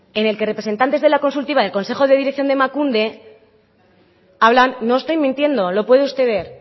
en el que representantes de la consultiva del consejo de dirección de emakunde hablan no estoy mintiendo lo puede usted ver